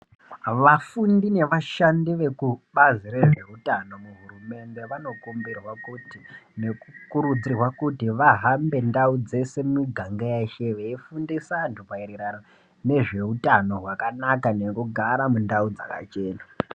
Vafundi nevashandi vekubazi rezveutano muhurumende vanokumbirwa kukurudzirwa kuti vahambe ndau dzose dzemuganga yeshe veifundise antu nezveutano nekugara mundau dzakachena.